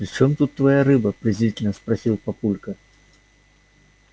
при чем тут твоя рыба презрительно спросил папулька